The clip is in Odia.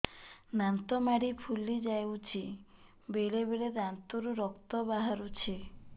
ଦାନ୍ତ ମାଢ଼ି ଫୁଲି ଯାଉଛି ବେଳେବେଳେ ଦାନ୍ତରୁ ରକ୍ତ ବାହାରୁଛି